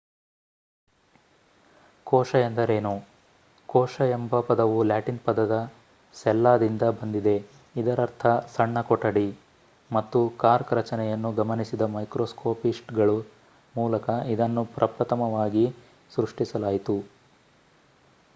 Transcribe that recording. ಕೋಶ ಎಂದರೇನು? ಕೋಶ ಎಂಬ ಪದವು ಲ್ಯಾಟಿನ್ ಪದ ಸೆಲ್ಲಾ ದಿಂದ ಬಂದಿದೆ ಇದರರ್ಥ ಸಣ್ಣ ಕೊಠಡಿ ಮತ್ತು ಕಾರ್ಕ್ ರಚನೆಯನ್ನು ಗಮನಿಸಿದ ಮೈಕ್ರೋಸ್ಕೋಪಿಸ್ಟ್‌ಗಳ ಮೂಲಕ ಇದನ್ನು ಪ್ರಪ್ರಥಮವಾಗಿ ಸೃಷ್ಟಿಸಲಾಯಿತು